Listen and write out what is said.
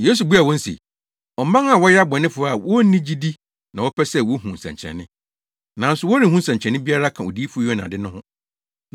Yesu buaa wɔn se, “Ɔman a wɔyɛ abɔnefo a wonni gyidi na wɔpɛ sɛ wohu nsɛnkyerɛnne. Nanso wɔrenhu nsɛnkyerɛnne biara ka Odiyifo Yona de no ho.